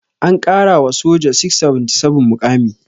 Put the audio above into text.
An ƙara wa soja 677 muƙami.